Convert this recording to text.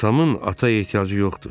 Atamın ata ehtiyacı yoxdur.